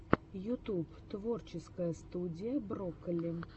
ютуб творческая студия брокколи